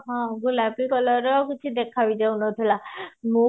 ହଁ ଗୋଲାପି color ର କିଛି ଦେଖା ବି ଯାଉନଥିଲା ମୁଁ